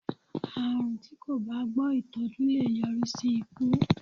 Àrùn tí kò bá gbọ́ ìtọ́jú lè yọrí sí ikú.